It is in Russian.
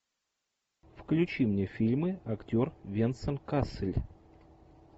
включи мне фильмы актер венсан кассель